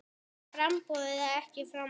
Jæja framboð eða ekki framboð?